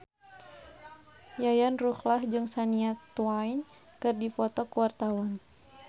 Yayan Ruhlan jeung Shania Twain keur dipoto ku wartawan